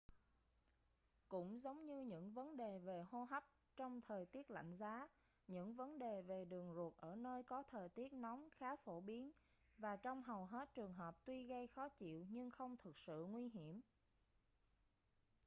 cũng giống như những vấn đề về hô hấp trong thời tiết lạnh giá những vấn đề về đường ruột ở nơi có thời tiết nóng khá phổ biến và trong hầu hết trường hợp tuy gây khó chịu nhưng không thực sự nguy hiểm